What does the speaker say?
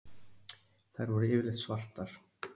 Þær voru yfirleitt svartar.